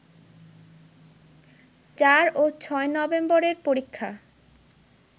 ৪ ও ৬ নভেম্বরের পরীক্ষা